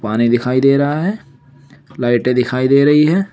पानी दिखाई दे रहा है लाइटें दिखाई दे रही है।